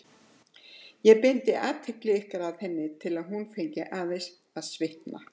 Ég beindi athygli ykkar að henni til að hún fengi aðeins að svitna.